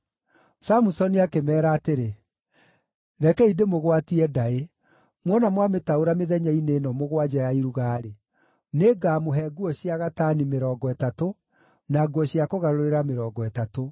Samusoni akĩmeera atĩrĩ, “Rekei ndĩmũgwatie ndaĩ, muona mwamĩtaũra mĩthenya-inĩ ĩno mũgwanja ya iruga-rĩ, nĩngamũhe nguo cia gatani mĩrongo ĩtatũ na nguo cia kũgarũrĩra mĩrongo ĩtatũ.